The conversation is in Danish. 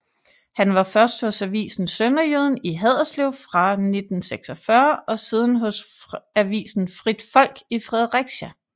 Han var først hos avisen Sønderjyden i Haderslev fra 1946 og siden hos avisen Frit Folk i Fredericia